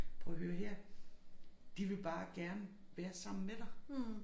Prøv at høre her de vil bare gerne være sammen med dig